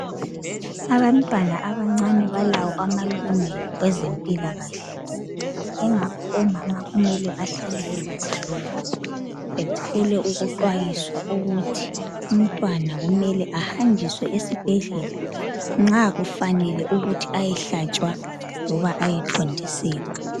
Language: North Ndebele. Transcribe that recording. abantwana abancane balawo amalungelo kwezempilakahle ingakho omama kumele bahlale bekwazi kholokhu bathole ukuxwayiswa ukuthi umntwana kumele ahanjiswe esibhedlela nxa kufanelwe eyehlatshwa loba ayethontiselwa